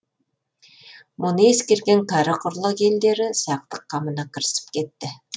мұны ескерген кәрі құрлық елдері сақтық қамына кірісіп кетті